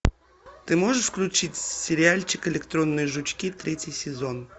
ты можешь включить сериальчик электронные жучки третий сезон